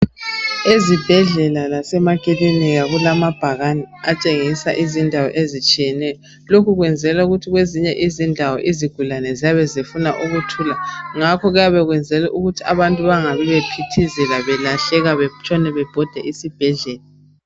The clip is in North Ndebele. Ezibhedlela lasemakilinika kulamabhakane atshengisa izindawo ezitshiyeneyo lokhu kwenzelwa ukuthi kwezinye izindawo izigulane ziyabe zifuna ukuthula ngakho kuyabe kuyenzelwa ukuthi abantu bengaphithizeli belahleka betshone bebhoda esibhedlela